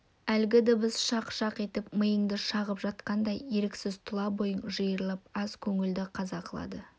әлгі дыбыс шақ-шақ етіп миыңды шағып жатқандай еріксіз тұла бойың жиырылып аза көңілді қаза қылады